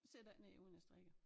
Sidder ikke ned uden jeg strikker